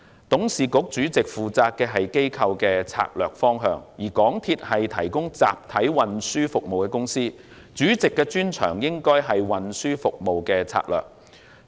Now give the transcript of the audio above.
董事局主席負責的是機構的策略方向，而港鐵公司是提供集體運輸服務的公司，主席的專長應該在於運輸服務的策略。